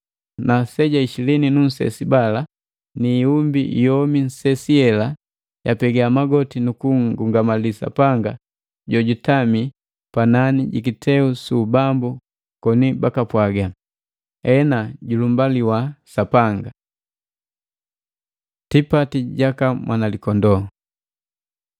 Na aseja isilini nu nsesi bala ni iumbi yomi nsesi yela yapega magoti nu kunngungamali Sapanga jojutami panani ji kiteu su ubambu koni bakapwaga, “Ena! Julumbaliwa Sapanga!” Tipati jaka Mwanalikondoo